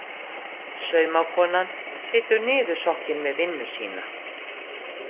Saumakonan situr niðursokkin við vinnu sína.